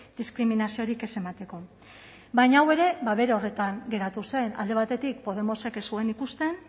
diskriminaziorik ez emateko baina hau ere bere horretan geratu zen alde batetik podemosek ez zuen ikusten